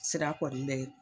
Sira kɔni bɛ